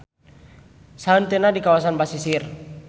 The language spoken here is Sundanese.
Sahenteuna di kawasan basisir.